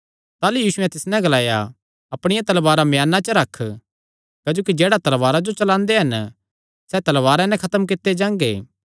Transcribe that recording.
ताह़लू यीशुयैं तिस नैं ग्लाया अपणिया तलवारा म्याना च रख क्जोकि जेह्ड़े तलवारा जो चलांदे हन सैह़ तलवारा नैं खत्म कित्ते जांगे